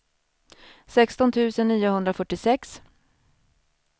sexton tusen niohundrafyrtiosex